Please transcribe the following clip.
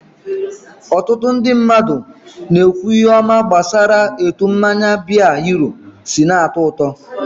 Ọtụtụ ndị mmadụ ihe ọma gbasara etu mmanya biya hero si na-atọ ụtọ.